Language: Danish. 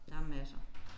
Der er masser